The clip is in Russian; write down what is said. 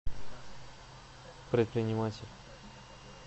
предприниматель